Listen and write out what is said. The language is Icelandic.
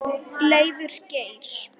Leifur Geir.